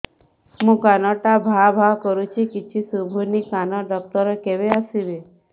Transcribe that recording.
ମୋ କାନ ଟା ଭାଁ ଭାଁ କରୁଛି କିଛି ଶୁଭୁନି କାନ ଡକ୍ଟର କେବେ ଆସିବେ